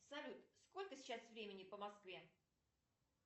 салют сколько сейчас времени по москве